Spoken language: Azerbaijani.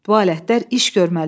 Tualetlər iş görməli idi.